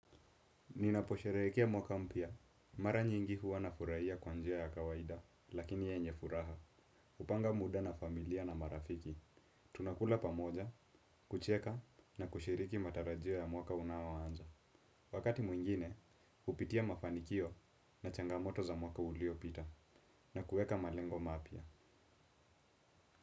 Ninaposhereheka mwaka mpya, mara nyingi huwa na furahia kwanjia ya kawaida, lakini yenye furaha, hupanga muda na familia na marafiki. Tunakula pamoja, kucheka na kushiriki matarajio ya mwaka unao anza. Wakati mwingine, hupitia mafanikio na changamoto za mwaka ulio pita na kueka malengo mapya.